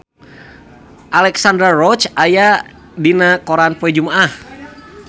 Alexandra Roach aya dina koran poe Jumaah